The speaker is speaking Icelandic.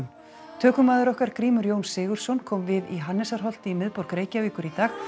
tökumaður okkar Grímur Jón Sigurðsson kom við í í miðborg Reykjavíkur í dag